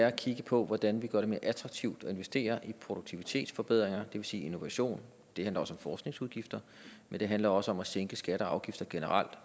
at kigge på hvordan vi gør det mere attraktivt at investere i produktivitetsforbedringer vil sige innovation det handler også om forskningsudgifter men det handler også om at sænke skatter og afgifter generelt